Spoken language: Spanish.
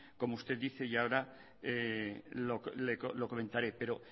como usted dice y ahora lo comentaré pero